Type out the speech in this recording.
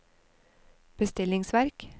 bestillingsverk